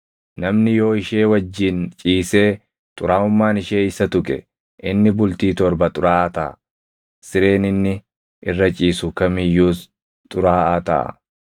“ ‘Namni yoo ishee wajjin ciisee xuraaʼummaan ishee isa tuqe, inni bultii torba xuraaʼaa taʼa; sireen inni irra ciisu kam iyyuus xuraaʼaa taʼa.